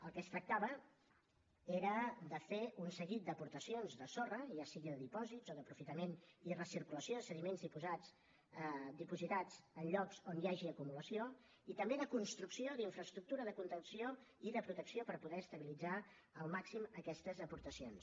el que es tractava era de fer un seguit d’aportacions de sorra ja sigui de dipòsits o d’aprofitament i recirculació de sediments dipositats en llocs on hi hagi acumulació i també de construcció d’infraestructura de contenció i de protecció per poder estabilitzar al màxim aquestes aportacions